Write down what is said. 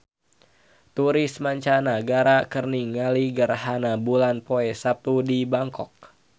Turis mancanagara keur ningali gerhana bulan poe Saptu di Bangkok